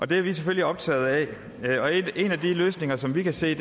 det er vi selvfølgelig optaget af en af de løsninger som vi kan se